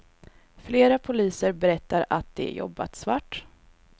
Flera poliser berättar att de jobbat svart.